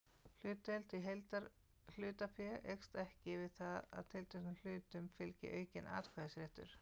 Hlutdeild í heildarhlutafé eykst ekki við það að tilteknum hlutum fylgi aukinn atkvæðisréttur.